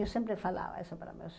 Eu sempre falava isso para meus